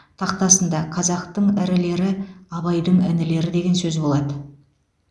тақтасында қазақтың ірілері абайдың інілері деген сөз болады